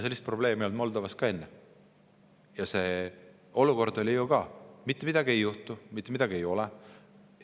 Seal oli ju ka selline olukord, kus mitte midagi ei juhtu, mitte midagi ei ole.